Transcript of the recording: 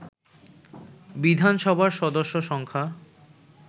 বিধানসভার সদস্য সংখ্যা